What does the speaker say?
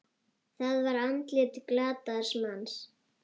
Það var andlit glataðs manns.